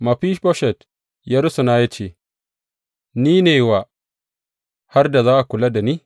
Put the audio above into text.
Mefiboshet ya rusuna ya ce, Ni ne wa har da za ka kula da ni?